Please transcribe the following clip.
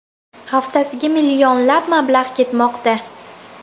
Haftasiga millionlab mablag‘ ketmoqda.